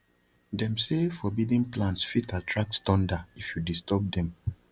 them say forbidden plants fit attract thunder if you disturb them